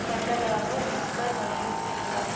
கண்டதாக Wenger வலியுறுத்தியுள்ளார்